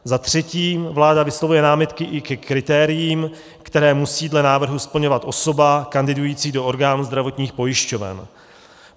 Za třetí, vláda vyslovuje námitky i ke kritériím, která musí dle návrhu splňovat osoba kandidující do orgánů zdravotních pojišťoven.